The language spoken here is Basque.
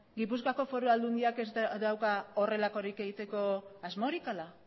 gipuzkoa foru aldundiak ez dauka horrelakorik egiteko asmorik ala